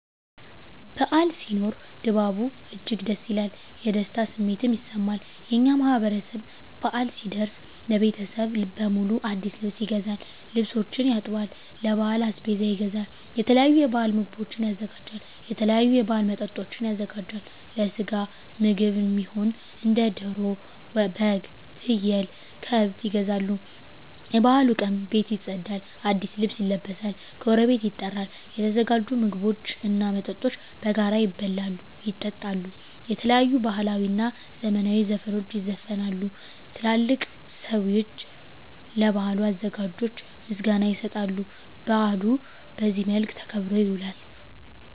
በዓል ሲኖር ድባቡ እጅግ ደስ ይላል። የደስታ ስሜትም ይሰማል። የእኛ ማህበረሰብ በአል ሲደርስ ለቤተሰብ በሙሉ አዲስ ልብስ ይገዛል፤ ልብሶችን ያጥባል፤ ለበዓል አስቤዛ ይገዛል፤ የተለያዩ የበዓል ምግቦችን ያዘጋጃል፤ የተለያዩ የበዓል መጠጦችን ያዘጋጃል፤ ለስጋ ምግብ እሚሆኑ እንደ ደሮ፤ በግ፤ ፍየል፤ ከብት ይገዛሉ፤ የበዓሉ ቀን ቤት ይፀዳል፤ አዲስ ልብስ ይለበሳል፤ ጎረቤት ይጠራል፤ የተዘጋጁ ምግቦች እና መጠጦች በጋራ ይበላሉ፤ ይጠጣሉ፤ የተለያዩ ባህላዊ እና ዘመናዊ ዘፈኖች ይዘፈናሉ፤ ትላልቅ ሰዊች ለበዓሉ አዘጋጆች ምስጋና ይሰጣሉ፤ በአሉ በዚህ መልክ ተከብሮ ይውላል።